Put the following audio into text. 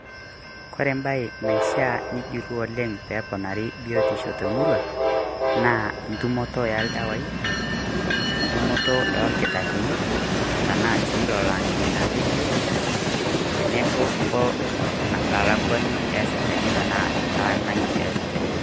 Kore ebae naishaa nijurru oleng' peponari biotisho temurua, naa intumoto eldawai, intumoto orkitarrini, tanaa si lolo ang'eni na lebiotisho, tenebo olakwani esipitalini tanaa entainai esipitalini.